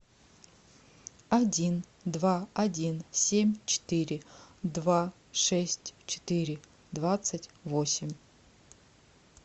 один два один семь четыре два шесть четыре двадцать восемь